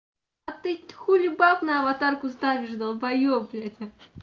а ты хули баб на аватарку ставишь долбаёб блядь